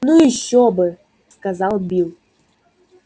ну ещё бы сказал билл